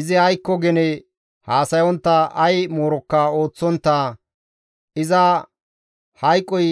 Izi aykko gene haasayontta, ay moorokka ooththontta, iza hayqoy